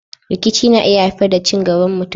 Rikici na iya haifar da cin gaban mutum.